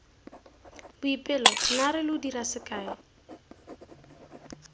boipelo naare lo dira sekae